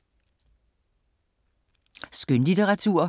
Skønlitteratur